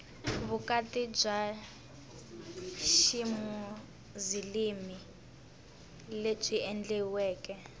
vukati bya ximuzilimi lebyi endliweke